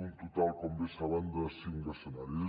d’un total com bé saben de cinc escenaris